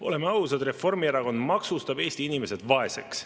Oleme ausad, Reformierakond maksustab Eesti inimesed vaeseks.